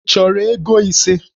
Ị chọrọ ego ise?